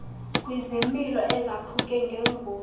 kwizimilo ezaphuke njengezi